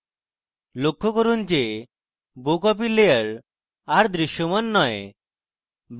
লক্ষ্য করুন যে bow copy layer আর দৃশ্যমান নয়